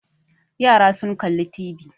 Yara sun kalli TV.